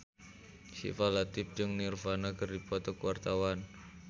Syifa Latief jeung Nirvana keur dipoto ku wartawan